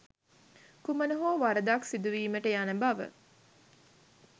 කුමන හෝ වරදක් සිදුවීමට යන බව.